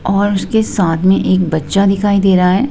और उसके साथ में एक बच्चा दिखाई दे रहा है।